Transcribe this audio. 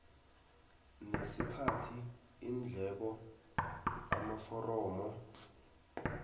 nesikhathi iindleko amaforomo